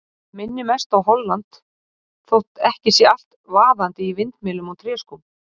Það minnir mest á Holland þótt ekki sé allt vaðandi í vindmyllum og tréskóm.